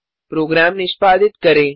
programme निष्पादित करें